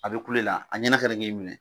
A be kulo la a ɲinɛ kana ke minɛ